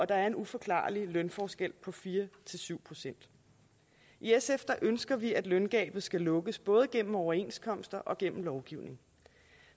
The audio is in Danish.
der er en uforklarlig lønforskel på fire syv procent i sf ønsker vi at løngabet skal lukkes både gennem overenskomster og gennem lovgivning